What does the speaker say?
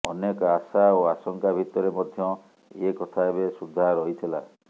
ଅନେକ ଆଶା ଓ ଆଶଙ୍କା ଭିତରେ ମଧ୍ୟ ଏ କଥା ଏବେ ସୁଦ୍ଧା ରହିଥିଲା